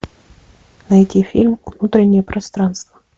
найди фильм внутреннее пространство